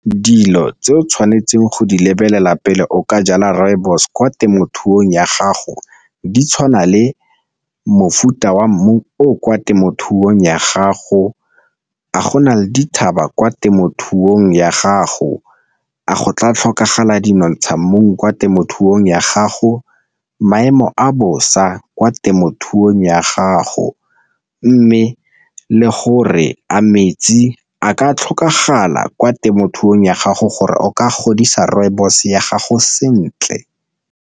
Dilo tse o tshwanetseng go di lebelela pele o ka jala rooibos kwa temothuong ya gago di tshwana le mofuta wa mmu o kwa temothuong ya gago, a go na le dithaba kwa temothuong ya gago, a go tla tlhokagala dinotsha mmung kwa temothuong ya gago, maemo a bosa kwa temothuong ya gago, mme le gore a metsi a ka tlhokagala kwa temothuong ya gago gore o ka godisa rooibos ya gago sentle.